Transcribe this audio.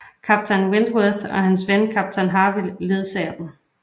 Kaptajn Wentworth og hans ven kaptajn Harville ledsager dem